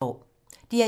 DR1